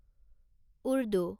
Urdu